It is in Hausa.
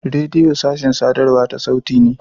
Rediyo sashin sadarwa ta sauti ne.